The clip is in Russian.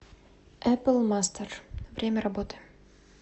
эпл мастэр время работы